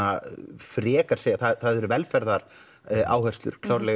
frekar segja það eru velferðaráherslur klárlega í